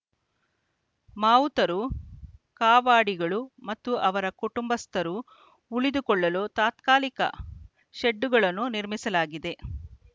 ಮಾವುತರು ಕಾವಾಡಿಗಳು ಮತ್ತು ಅವರ ಕುಟಂಬಸ್ಥರು ಉಳಿದುಕೊಳ್ಳಲು ತಾತ್ಕಾಲಿಕ ಶೆಡ್ಡುಗಳನ್ನು ನಿರ್ಮಿಸಲಾಗಿದೆ